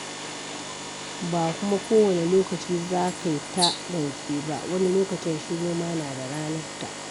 Ba kuma kowanne lokaci za kai ta zance ba, wani lokacin shiru ma na da ranarta.